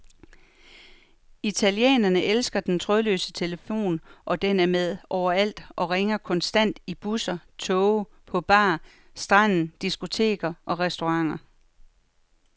Italienerne elsker den trådløse telefon, og den er med overalt og ringer konstant i busser, toge, på bar, stranden, diskoteker og restauranter.